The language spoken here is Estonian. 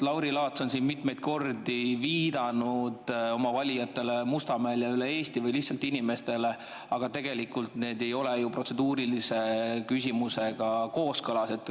Lauri Laats on siin mitmeid kordi viidanud oma valijatele Mustamäel ja üle Eesti või lihtsalt inimestele, aga tegelikult see ei ole ju protseduurilise küsimuse kooskõlas.